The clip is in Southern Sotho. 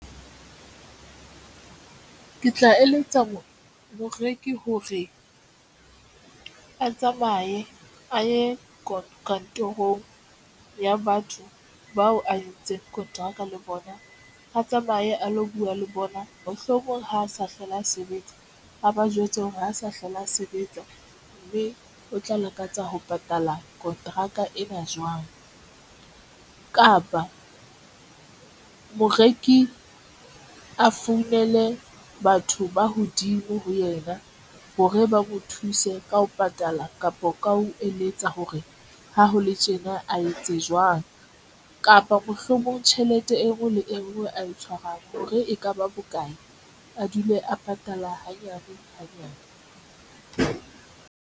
Ke tla eletsa moreki hore a tsamaye a ye kantorong ya batho bao a entseng kontraka le bona, a tsamaye a lo bua le bona. Mohlomong ha a sa hlole a sebetsa, ha ba jwetse hore ha sa hlola a sebetsa mme o tla lakatsa ho patala kontraka ena jwang kapa moreki o a founele batho ba hodimo ho yena hore ba mo thuse ka ho patala kapa ka ho eletsa hore ha ho le tjena a etse kapa mohlomong tjhelete e ngwe le engwe a e tshwarang hore ekaba bokae a dule a patala hanyane hanyane.